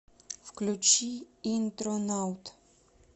включи интронаут